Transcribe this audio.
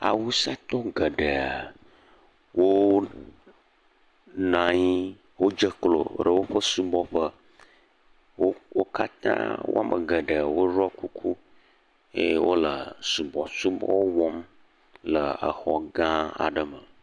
Awusatɔwo geɖe wo nɔ anyi. Wodzeklo ɖe woƒe subɔƒe. Wo wo katã woame geɖe woɖɔ kuku eye wole subɔsubɔ wɔm le xɔ gã aɖe me.